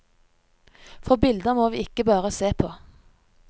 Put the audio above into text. For bilder må vi ikke bare se på.